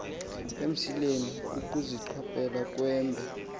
emsileni kukuziqhwayela ukhwembe